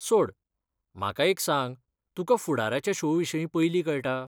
सोड, म्हाका एक सांग तुका फुडाराच्या शो विशीं पयलीं कळटा?